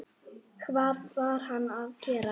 Það varð hann að gera.